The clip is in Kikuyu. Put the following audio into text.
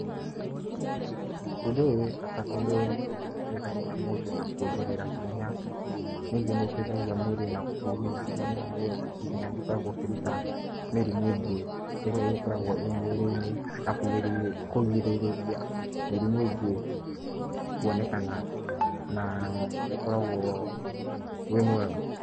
Ũndũ ũyũ wĩ bata tondũ nĩ ũteithagia mũndũ na kuongerera hinya. Ningĩ nĩ ũteithagia mwĩrĩ na gũthigina, nĩ ũramenya mwĩrĩ ũngĩthigina nĩ ũkoragwo ũkĩruta mĩrimũ ĩngĩ ĩrĩa ikoragwo ĩ mwĩrĩ-inĩ. Na kũrigĩrĩria mĩrimũ ingĩ kuonekana na ĩkoragwo ũrĩ mwega.